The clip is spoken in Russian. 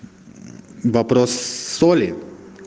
вопрос соли